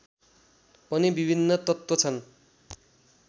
पनि विभिन्न तत्त्व छन्